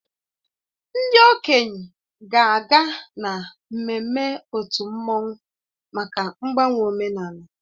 Ndị okenye ga-aga na mmemme otu mmanwụ maka mgbanwe omenala